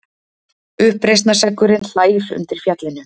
Uppreisnarseggurinn hlær undir fjallinu.